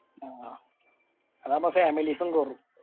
ആ അതാവുമ്പോ families ഉം പോകും